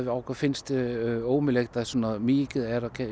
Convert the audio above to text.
að okkur finnst ómögulegt að svona mikið af